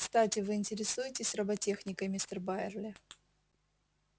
кстати вы интересуетесь роботехникой мистер байерли